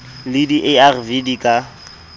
le di arv di ka